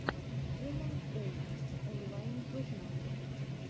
вумэнс дэй онлайн журнал